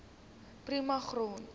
prima grond